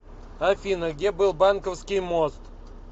афина где был банковский мост